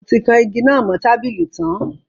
Mo ti kan igi náà mo tábìlì tan